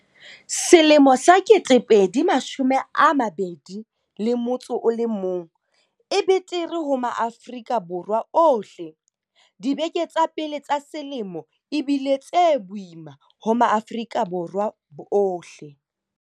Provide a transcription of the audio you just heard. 2021 e betere ho Maafrika Borwa ohleDibeke tsa pele tsa selemo e bile tse boima ho Maafrika Borwa ohle.